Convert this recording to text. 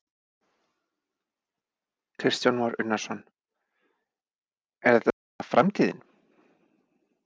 Kristján Már Unnarsson: Er þetta svona framtíðin?